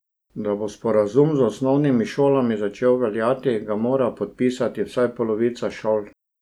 Da bo sporazum z osnovnimi šolami začel veljati, ga mora podpisati vsaj polovica šol.